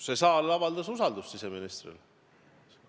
See saal avaldas siseministrile usaldust.